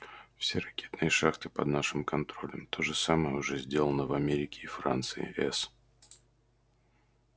все ракетные шахты под нашим контролем то же самое уже сделано в америке и франции с